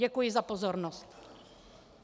Děkuji za pozornost.